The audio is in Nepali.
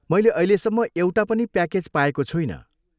मैले अहिलेसम्म एउटा पनि प्याकेज पाएको छुइनँ।